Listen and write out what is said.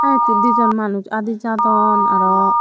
ahaa eyot he dijon manuj adi jadon aro.